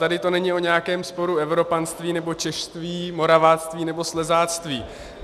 Tady to není o nějakém sporu evropanství, nebo češství, moraváctví, nebo slezáctví.